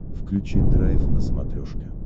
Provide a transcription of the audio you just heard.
включи драйв на смотрешке